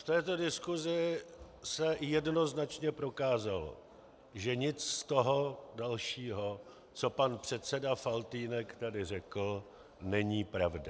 V této diskusi se jednoznačně prokázalo, že nic z toho dalšího, co pan předseda Faltýnek tady řekl, není pravda.